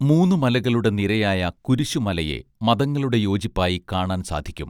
മൂന്നുമലകളുടെ നിരയായ കുരിശു മലയെ മതങ്ങളുടെ യോജിപ്പായി കാണാൻ സാധിക്കും